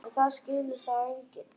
En það skilur það enginn.